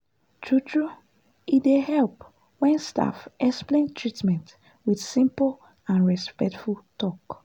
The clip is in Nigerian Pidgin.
true true e dey help when staff explain treatment with simple and respectful talk.